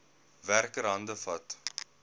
werker hande vat